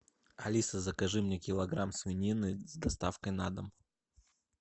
алиса закажи мне килограмм свинины с доставкой на дом